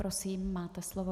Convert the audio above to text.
Prosím, máte slovo.